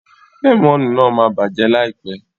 Lẹ́mọ̀nù náà ma bàjẹ́ láìpẹ́.